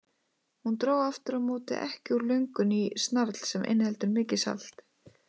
Hún dró aftur á móti ekki úr löngun í snarl sem inniheldur mikið salt.